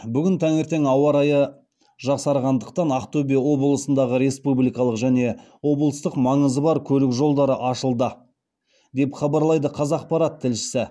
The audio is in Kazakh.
бүгін таңертең ауа райы жақсарғандықтан ақтөбе облысындағы республикалық және облыстық маңызы бар көлік жолдары ашылды деп хабарлайды қазақпарат тілшісі